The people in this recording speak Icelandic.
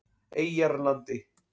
Eyjarlandi